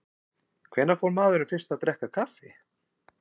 Hvenær fór maðurinn fyrst að drekka kaffi?